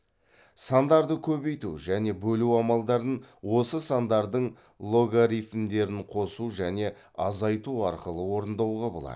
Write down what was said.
сандарды көбейту және бөлу амалдарын осы сандардың логарифмдерін қосу және азайту арқылы орындауға болады